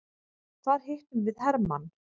Þar hittum við hermann.